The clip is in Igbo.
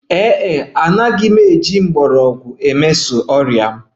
Ee e, agaghị m emeso ọrịa m na herbs mpaghara